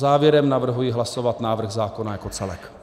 Závěrem navrhuji hlasovat návrh zákona jako celek.